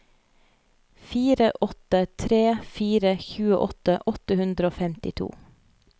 fire åtte tre fire tjueåtte åtte hundre og femtito